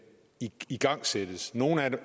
igangsættes nogle af